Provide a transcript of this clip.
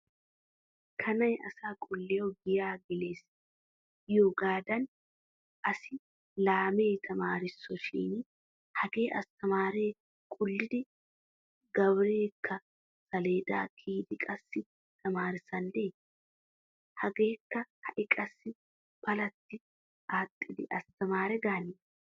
Kanay asaa qulliyawu giyaa gelees giyogaadan assi laamee tamaarisso shin hagee asttamaariya qullidi gabareekka saleedaa kiyidi qassi tamaarissandde. Hagaakka ha'i qassi palatti aaxxidi asttamaare gaane.